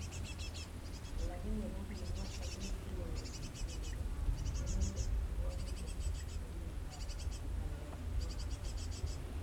Alakani ko kimwa en wikit ne kosirtoi kole ma inendet kirwakindet en kwenut ab ngalek choton